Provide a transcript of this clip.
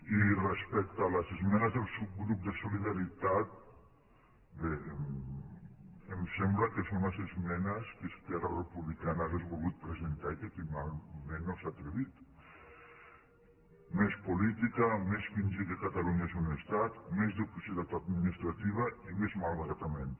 i respecte a les esmenes del subgrup de solidaritat bé em sembla que són les esmenes que esquerra republicana hauria volgut presentar i que finalment no s’hi ha atrevit més política més fingir que catalunya és un estat més duplicitat administrativa i més malbaratament